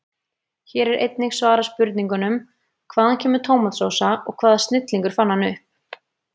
Hér er einnig svarað spurningunum: Hvaðan kemur tómatsósa og hvaða snillingur fann hana upp?